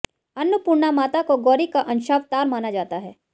अन्नपूर्णा माता को गौरी का अंशावतार माना जाता है